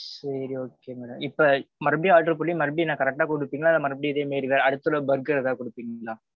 சேரி okay madam. இப்போ மறுபடியும் order பண்ணி மறுபடியும் என்ன correct ஆ குடுப்பீங்களா இல்ல மறுபடியும் இதே மாறி அடுத்த தடவ burger ஏதாவது குடுப்பீங்களா?